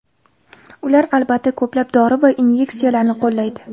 Ular, albatta, ko‘plab dori va inyeksiyalarni qo‘llaydi.